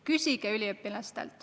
Küsige üliõpilastelt!